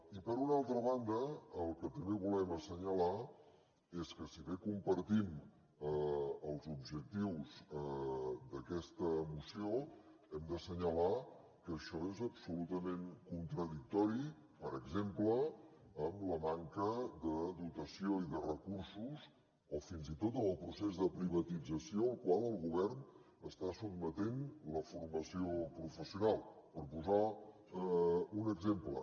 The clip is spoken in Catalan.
i per una altra banda el que també volem assenyalar és que si bé compartim els objectius d’aquesta moció hem d’assenyalar que això és absolutament contradictori per exemple amb la manca de dotació i de recursos o fins i tot amb el procés de privatització al qual el govern està sotmetent la formació professional per posar un exemple